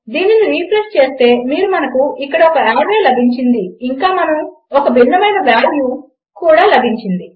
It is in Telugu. దీనిని రిఫ్రెష్ చేస్తే మీరు మనకు ఇక్కడ ఒక ఆర్రే లభించింది ఇంకా మనకు ఒక భిన్నమైన వాల్యూ కూడా లభించింది